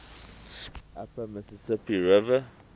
upper mississippi river